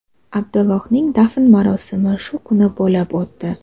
Abdullohning dafn marosimi shu kuni bo‘lib o‘tdi.